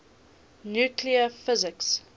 nuclear physics